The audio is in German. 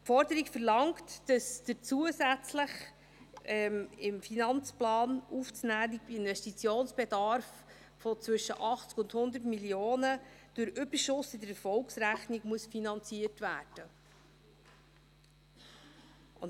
– Die Forderung verlangt, dass der zusätzlich in den Finanzplan aufzunehmenden Investitionsbedarf zwischen 80 und 100 Mio. Franken durch Überschuss in der Erfolgsrechnung finanziert werden muss.